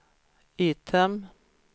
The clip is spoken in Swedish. item